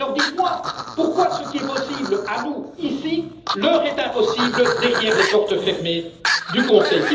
Alors dites moi pourquoi ce qui est possible pour nous, ici, leur est impossible derrière les portes fermées du Conseil?